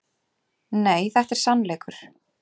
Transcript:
Nei, þetta er sannleikur!